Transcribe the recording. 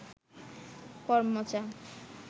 করমচা